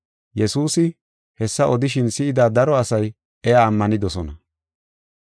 Yesuusi hessa odishin si7ida daro asay iya ammanidosona.